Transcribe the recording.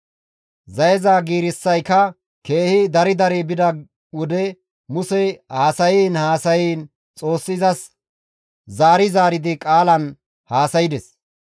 Zayeza giirissayka keehi dari dari bida wode Musey haasayiin haasayiin Xoossi izas zaari zaaridi qaalan haasaydes.